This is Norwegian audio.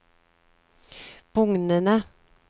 bugnende